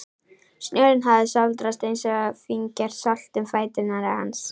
Snjórinn hafði sáldrast eins og fíngert salt um fætur hans.